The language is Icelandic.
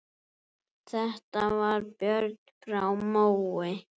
Þetta var Björn frá Mói.